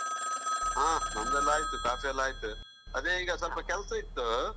ಆ ನಮ್ಮದೆಲ್ಲ ಆಯ್ತು ಕಾಫಿ ಎಲ್ಲ ಆಯ್ತು, ಅದೇ ಈಗ ಸ್ವಲ್ಪ ಕೆಲಸ ಇತ್ತು.